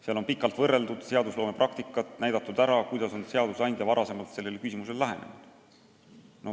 Seal on pikalt võrreldud seadusloome praktikat ja antud ülevaade, kuidas on seadusandja varem sellisele küsimusele lähenenud.